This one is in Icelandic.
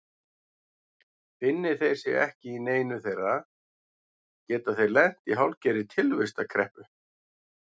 Finni þeir sig ekki í neinu þeirra geta þeir lent í hálfgerðri tilvistarkreppu.